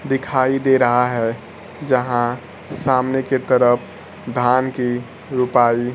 दिखाई दे रहा है जहां सामने की तरफ धान की रूपाई--